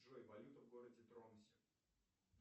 джой валюта в городе тромсе